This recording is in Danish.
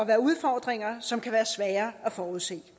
være udfordringer som kan være svære at forudse